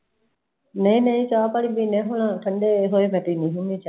ਨਈ ਨਈ ਚਾਹ ਪਾਣੀ ਪੀਨੇ ਆ ਹੁਣ, ਠੰਡੇ ਹੋਏ ਪੀਨੇ ਆ ਚਾਹ